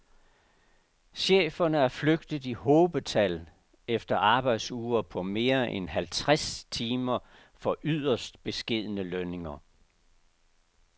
Cheferne er flygtet i hobetal efter arbejdsuger på mere end halvtreds timer for yderst beskedne lønninger.